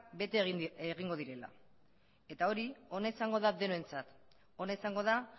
bete egingo direla eta hori ona izango da denontzat ona izango da